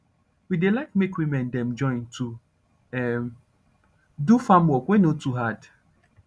we dey like make woman dem join to um do farm work wey nor too hard